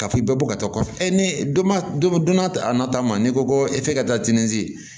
Ka f'i bɛ bɔ ka taa kɔfɛ e donna donna a nata ma n'i ko ko f'i ka taa tinizi